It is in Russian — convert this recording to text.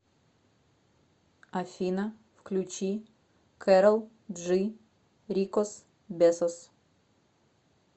афина включи кэрол джи рикос бесос